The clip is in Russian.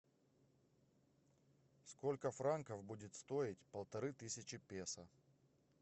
сколько франков будет стоить полторы тысячи песо